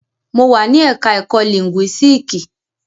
Mo wà ní ẹ̀ka ẹ̀kó lìńgúísíìkì.